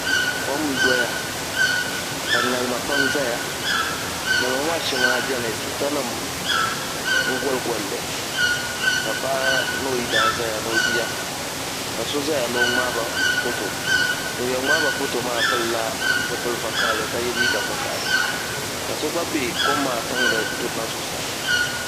Kom n doya ka ŋarima pam ʒɛya ŋarima ŋo maa shɛŋa biɛni tuuta nim n goli golli ka paɣa ni o yidan ʒɛya ni o bia ka so ʒɛya ni o ŋmaaba foto ŋun yɛn ŋmaaba foto maa pilila zipili vakaɣili ka yɛ liiga vakaɣili ka so gba bɛ kom maa tiŋli durina zuɣusaa